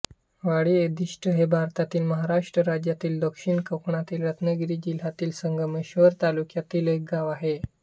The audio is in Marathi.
वाडी अधिष्टी हे भारतातील महाराष्ट्र राज्यातील दक्षिण कोकणातील रत्नागिरी जिल्ह्यातील संगमेश्वर तालुक्यातील एक गाव आहे